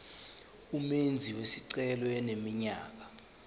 umenzi wesicelo eneminyaka